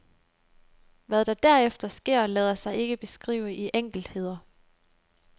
Hvad der derefter sker, lader sig ikke beskrive i enkeltheder.